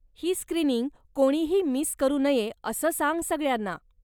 ही screening कोणीही miss करू नये असं सांग सगळ्यांना.